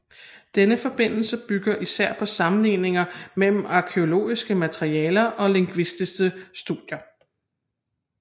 Denne forbindelse bygger især på sammenligninger mellem arkæologisk materiale og lingvistiske studier